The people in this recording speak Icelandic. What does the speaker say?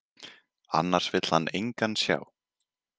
Annars vill hann engan sjá.